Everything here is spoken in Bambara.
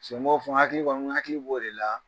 n hakili b'o de la